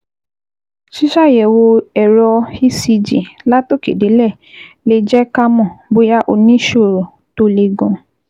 Ṣíṣàyẹ̀wò ẹ̀rọ ECG látòkèdélẹ̀ lè jẹ́ ká mọ̀ bóyá o ní ìṣòro tó le gan-an